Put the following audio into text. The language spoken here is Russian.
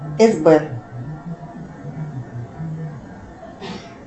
сб